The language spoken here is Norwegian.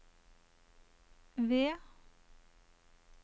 V